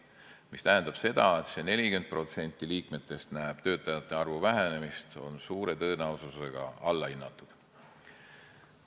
See tähendab seda, et see, et 40% liikmetest näeb töötajate arvu vähenemist, on suure tõenäosusega alla hinnatud.